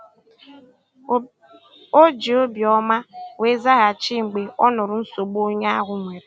O ji obi ọma wee zaghachi mgbe ọ nụrụ nsogbu onye ahụ nwere.